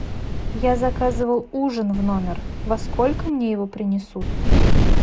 я заказывал ужин в номер во сколько мне его принесут